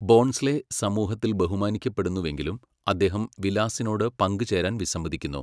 ബോൺസ്ലെ സമൂഹത്തിൽ ബഹുമാനിക്കപ്പെടുന്നുവെങ്കിലും അദ്ദേഹം വിലാസിനോട് പങ്കുചേരാൻ വിസമ്മതിക്കുന്നു.